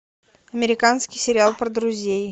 американский сериал про друзей